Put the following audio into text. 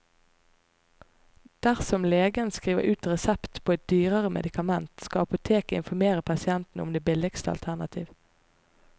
Dersom legen skriver ut resept på et dyrere medikament, skal apoteket informere pasienten om det billigste alternativ.